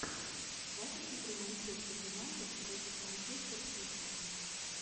запись игры манчестер юнайтед против манчестер сити